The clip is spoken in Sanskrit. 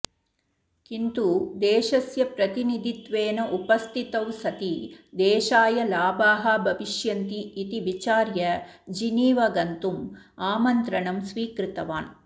किन्तु देशस्य प्रतिनिधित्वेन उपस्थितौ सति देशाय लाभाः भविष्यन्ति इति विचार्य जिनीव गन्तुम् आमन्त्रणं स्वीकृतवान्